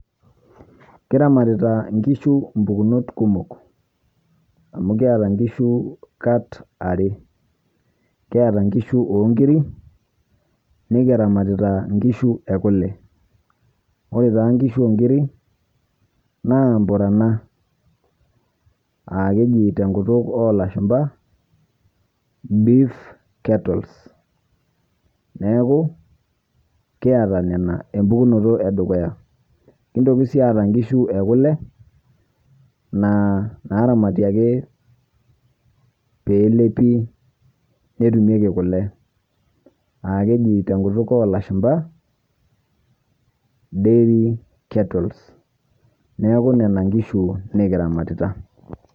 Kiramatita nkishuu mpukunot kumook amu kietaa nkishuu kaat aare, kieta nkishuu ong'iri, nikiramatita nkishuu ekulee. Ore taa nkishuu ong'irii naa mpuranaa aa kejii to nkuutuk olashumpa beef cattles. Neeku kietaa nena empukunoto e dukuya. Kintooki sii aata nkishuu e kulee naaramati ake pee elepii netumieki kulee, aa kejii te nkuutuk e lashumbaa diary catlles. Neeku nena nkishuu nikiramatita.